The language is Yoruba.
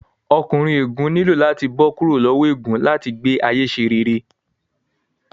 Ọkùnrin ègún nílò láti bó kúrò lowo ègún láti gbé ayé ṣe rere